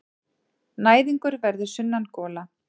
Næðingur verður sunnangola.